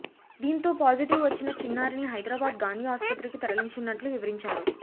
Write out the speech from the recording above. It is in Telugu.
దీంతో పాజిటివ్ వచ్చిన చిన్నారిని హైదరాబాద్ గాంధీ ఆస్పత్రికి తరలించినట్లు వివరించారు